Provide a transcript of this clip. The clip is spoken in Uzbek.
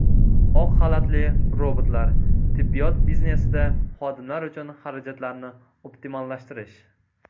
Oq xalatli robotlar: tibbiyot biznesida xodimlar uchun xarajatlarni optimallashtirish.